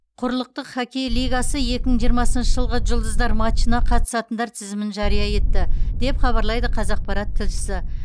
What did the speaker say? құрлықтық хоккей лигасы екі мың жиырмасыншы жылғы жұлдыздар матчына қатысатындар тізімін жария етті деп хабарлайды қазақпарат тілшісі